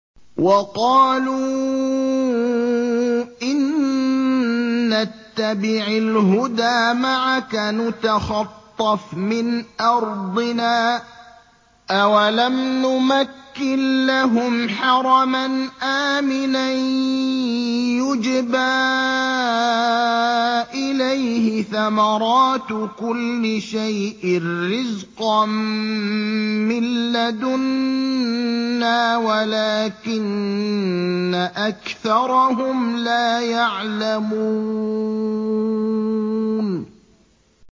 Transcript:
وَقَالُوا إِن نَّتَّبِعِ الْهُدَىٰ مَعَكَ نُتَخَطَّفْ مِنْ أَرْضِنَا ۚ أَوَلَمْ نُمَكِّن لَّهُمْ حَرَمًا آمِنًا يُجْبَىٰ إِلَيْهِ ثَمَرَاتُ كُلِّ شَيْءٍ رِّزْقًا مِّن لَّدُنَّا وَلَٰكِنَّ أَكْثَرَهُمْ لَا يَعْلَمُونَ